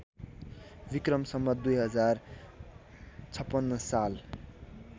विक्रम सम्वत २०५६ साल